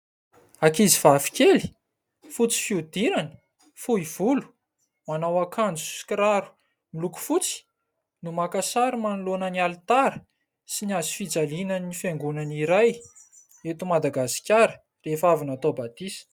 Ankizivavy kely fotsy fihodirana, fohy volo, manao akanjo sy kiraro miloko fotsy no maka sary manoloana ny alitara sy ny hazofijalianan'ny fiangonana iray eto Madagasikara rehefa avy natao batisa.